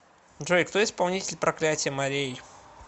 джой кто исполнитель проклятье морей